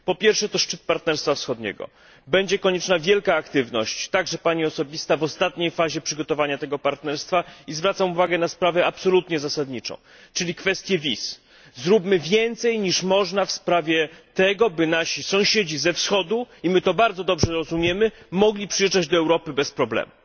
Po pierwsze, to szczyt Partnerstwa Wschodniego. Będzie konieczna wielka aktywność, także Pani osobista, w ostatniej fazie przygotowania tego Partnerstwa. I zwracam uwagę na sprawę absolutnie zasadniczą, czyli kwestię wiz zróbmy więcej niż można w sprawie tego, by nasi sąsiedzi ze Wschodu i my to bardzo dobrze rozumiemy mogli przyjeżdżać do Europy bez problemu.